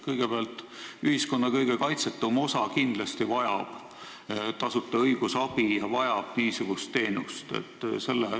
Kõigepealt, ühiskonna kõige kaitsetum osa loomulikult vajab tasuta õigusabi, vajab niisugust teenust.